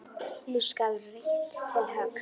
Nú skal reitt til höggs.